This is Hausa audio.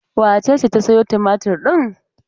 Wace ce ta sayo tumatur ɗin?